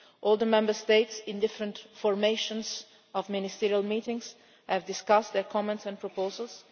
All the Member States, in different formations of ministerial meetings, have discussed their comments and proposals.